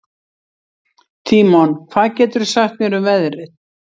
Tímon, hvað geturðu sagt mér um veðrið?